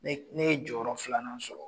Ne ne ye jɔyɔrɔ filanan sɔrɔ.